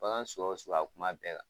Bagan suguya o suguya a kun m'a bɛɛ kan.